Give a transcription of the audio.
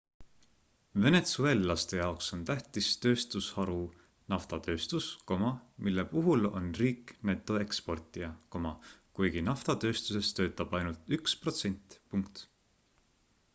venetsueellaste jaoks on tähtis tööstusharu naftatööstus mille puhul on riik netoeksportija kuigi naftatööstuses töötab ainult üks protsent